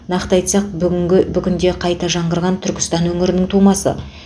нақты айтсақ бүгінгі бүгінде қайта жаңғырған түркістан өңірінің тумасы